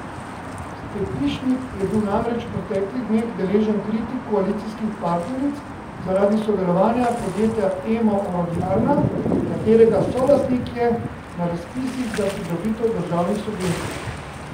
Stepišnik je bil namreč v preteklih dneh deležen kritik koalicijskih partneric zaradi sodelovanja podjetja Emo Orodjarna, katerega solastnik je, na razpisih za pridobitev državnih subvencij.